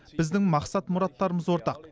біздің мақсат мұраттарымыз ортақ